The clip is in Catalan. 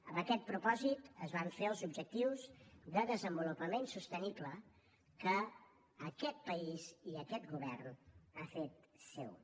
amb aquest propòsit es van fer els objectius de desenvolupament sostenible que aquest país i aquest govern han fet seus